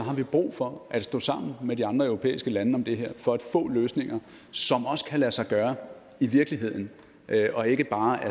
vi brug for at stå sammen med de andre europæiske lande om det her for at få løsninger som også kan lade sig gøre i virkeligheden og ikke bare er